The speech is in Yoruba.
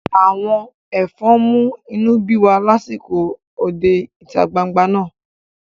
Àwọn ẹ̀fọn mú inú bí wa lásìkò òde ìta gbangba náà